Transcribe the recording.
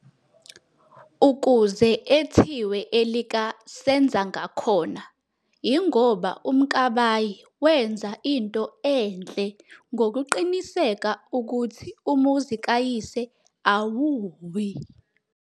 Ukuze ethiwe elika "senza ngakhona" ingoba uMkabayi wenza into enhle ngokuqiniseka ukhuthi umuzi kayise awuwi.